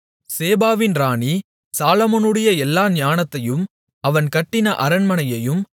சேபாவின் ராணி சாலொமோனுடைய எல்லா ஞானத்தையும் அவன் கட்டின அரண்மனையையும்